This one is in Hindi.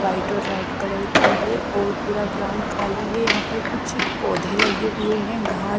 वाइट और रेड कलर की है और पूरा ग्राउंड खाली है यहां पर कुछ पौधे लगे हुए हैं घास --